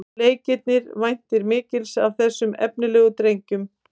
Leiknir væntir mikils af þessum efnilegu drengjum